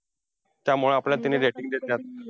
त्यामुळे आपल्याला त्यांनी rating देत्यात.